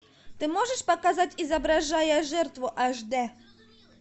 ты можешь показать изображая жертву аш д